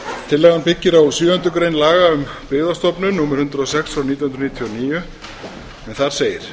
tillagan byggir á sjöundu grein laga um byggðastofnun númer hundrað og sex nítján hundruð níutíu og níu en þar segir